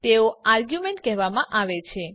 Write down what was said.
તેઓ આરગ્યુંમેન્ટ કહેવામાં આવે છે